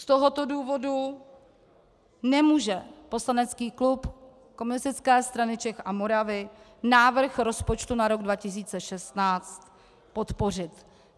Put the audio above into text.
Z tohoto důvodu nemůže poslanecký klub Komunistické strany Čech a Moravy návrh rozpočtu na rok 2016 podpořit.